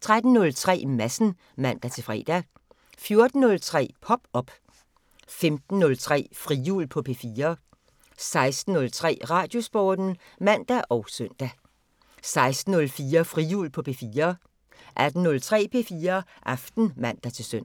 13:03: Madsen (man-fre) 14:03: Pop op 15:03: Frihjul på P4 16:03: Radiosporten (man og søn) 16:04: Frihjul på P4 18:03: P4 Aften (man-søn)